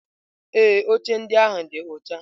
Ee, oche ndị ahụ dị ọcha.